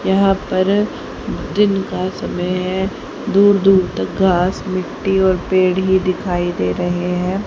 यहां पर दिन का समय है। दूर-दूर तक घास मिट्टी और पेड़ ही दिखाई दे रहे हैं।